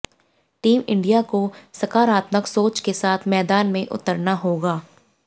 team India को सकारात्मक सोच के साथ मैदान में उतारना होगा